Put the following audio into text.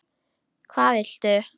Hvað viltu?